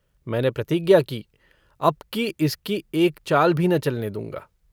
मैंने प्रतिज्ञा की अबकी इसकी एक चाल भी न चलने दूँगा।